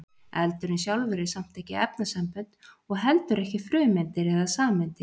eldurinn sjálfur er samt ekki efnasambönd og heldur ekki frumeindir eða sameindir